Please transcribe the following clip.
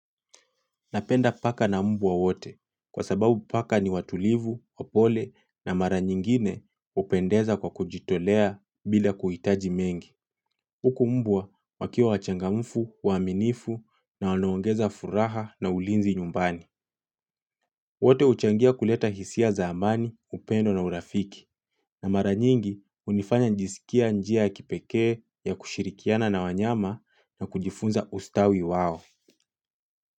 Napenda paka na mbwa wote kwa sababu paka ni watulivu, wapole na mara nyingine hupendeza kwa kujitolea bila kuhitaji mengi. Huku mbwa wakiwa wachangamfu, waaminifu na wanaongeza furaha na ulinzi nyumbani. Wote huchangia kuleta hisia za amani, upendo na urafiki. Na mara nyingi hunifanya nasikia njia ya kipekee ya kushirikiana na wanyama na kujifunza ustawi wao.